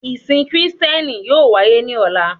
Ìsìn kristiẹni yóò wáyé ní ọ̀la